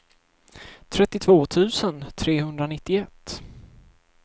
trettiotvå tusen trehundranittioett